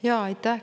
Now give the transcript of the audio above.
Aitäh!